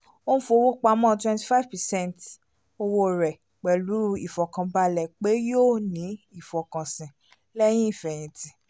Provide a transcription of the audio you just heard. ó n fowó pamọ́ twenty five percent owó rẹ̀ pẹ̀lú ìfọkànbalẹ̀ pé yóò ní ìfọkànsìn lẹ́yìn ifẹ́tìn